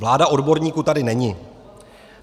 Vláda odborníků tady není.